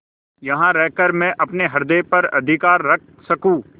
यहाँ रहकर मैं अपने हृदय पर अधिकार रख सकँू